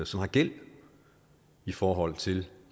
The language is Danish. som har gæld i forhold til